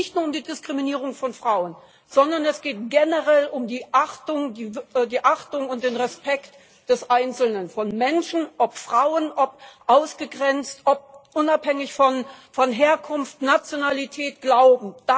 Da geht es nicht nur um die Diskriminierung von Frauen, sondern es geht generell um die Achtung und den Respekt des Einzelnen von Menschen, ob Frauen, ob ausgegrenzt, unabhängig von Herkunft, Nationalität, Glauben.